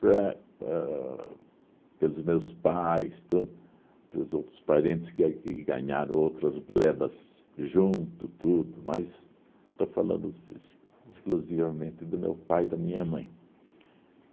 para ãh pelos meus pais, tudo, pelos outros parentes que ganharam outras glebas junto, tudo, mas estou falando ex exclusivamente do meu pai e da minha mãe.